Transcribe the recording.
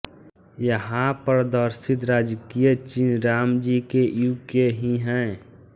यहा प्रदर्शित राजकीय चिन्ह राम जी के युग के ही हैं